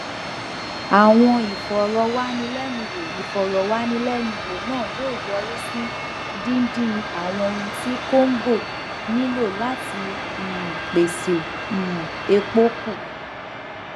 àwọn ìfọrọwánilẹnuwò ìfọrọwánilẹnuwò náà yóò yọrí sí dídín àwọn ohun tí congo nílò láti um pèsè um epo kù